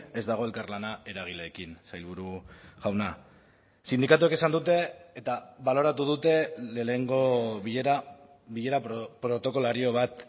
ez dago elkarlana eragileekin sailburu jauna sindikatuek esan dute eta baloratu dute lehenengo bilera bilera protokolario bat